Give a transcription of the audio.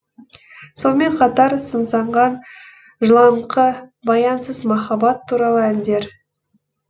сонымен қатар сыңсыған жылаңқы баянсыз махаббат туралы әндер